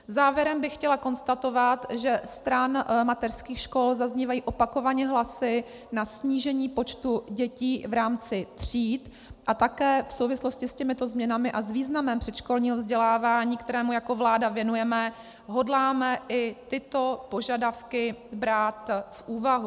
Závěrem bych chtěla konstatovat, že stran mateřských škol zaznívají opakovaně hlasy na snížení počtu dětí v rámci tříd, a také v souvislosti s těmito změnami a s významem předškolního vzdělávání, kterému jako vláda věnujeme, hodláme i tyto požadavky brát v úvahu.